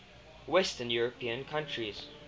western european countries